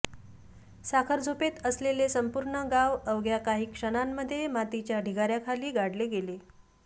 साखरझोपेत असलेले संपूर्ण गाव अवघ्या काही क्षणांमध्ये मातीच्या ढिगाऱ्याखाली गाडले गेले